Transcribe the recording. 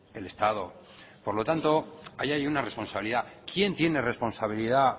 el estado por lo tanto ahí hay una responsabilidad quién tiene responsabilidad